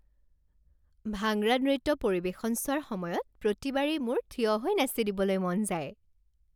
ভাংৰা নৃত্য পৰিৱেশন চোৱাৰ সময়ত প্ৰতিবাৰেই মোৰ থিয় হৈ নাচি দিবলৈ মন যায়।